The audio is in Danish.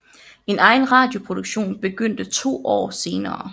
En egen radioproduktion begyndte to år senere